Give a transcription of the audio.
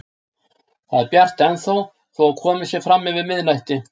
Það er bjart ennþá þó að komið sé fram yfir miðnætti.